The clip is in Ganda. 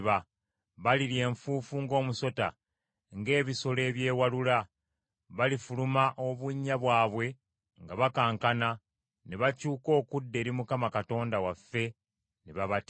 Balirya enfuufu ng’omusota, ng’ebisolo ebyewalula. Balifuluma obunnya bwabwe nga bakankana ne bakyuka okudda eri Mukama Katonda waffe, ne babatya.